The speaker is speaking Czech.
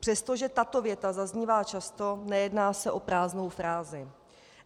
Přestože tato věta zaznívá často, nejedná se o prázdnou frázi.